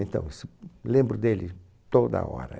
Então isso, lembro dele toda hora.